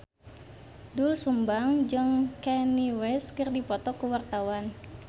Doel Sumbang jeung Kanye West keur dipoto ku wartawan